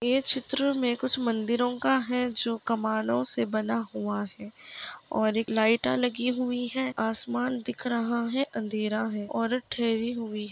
ये चित्र में कुछ मंदिरों का है जो कमानों से बना हुआ है और एक लाइट लगी हुई है आसमान दिख रहा है अंधेरा है और ठहरी हुई--